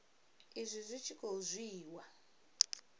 izwi zwi tshi khou dzhiiwa